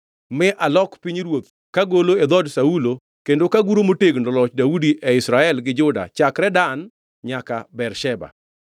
mi alok pinyruoth kagolo e dhood Saulo kendo kaguro motegno loch Daudi e Israel gi Juda chakre Dan nyaka Bersheba.”